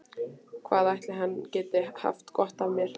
Hvað ætli hann geti haft gott af mér?